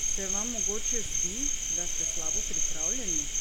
Se vam mogoče zdi, da ste slabo pripravljeni?